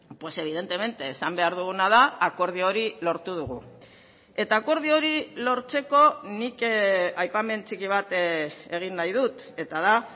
pues evidentemente esan behar duguna da akordio hori lortu dugu eta akordio hori lortzeko nik aipamen txiki bat egin nahi dut eta da